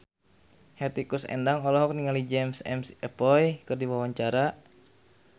Hetty Koes Endang olohok ningali James McAvoy keur diwawancara